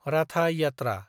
राथा-यात्रा